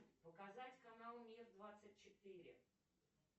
показать канал мир двадцать четыре